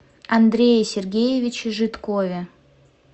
андрее сергеевиче жидкове